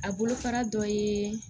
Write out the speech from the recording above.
A bolofara dɔ ye